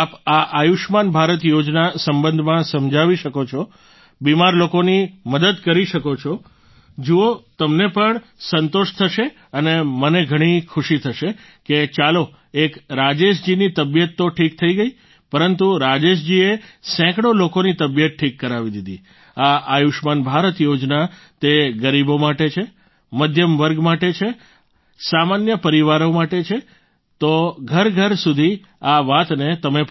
આપ આ આયુષ્યમાન ભારત યોજના સંબંધમાં સમજાવી શકો છો બિમાર લોકોની મદદ કરી શકો છો જુઓ તમને પણ સંતોષ થશે અને મને ઘણી ખુશી થશે કે ચાલો એક રાજેશજીની તબિયત તો ઠીક થઈ ગઈ પરંતુ રાજેશજીએ સેંકડો લોકોની તબિયત ઠીક કરાવી દીધી આ આયુષ્યમાન ભારત યોજના તે ગરીબો માટે છે મધ્યમવર્ગ માટે છે સામાન્ય પરિવારો માટે છે તો ઘરઘર સુધી આ વાતને તમે પહોંચાડશો